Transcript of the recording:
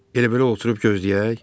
Elə-belə oturub gözləyək?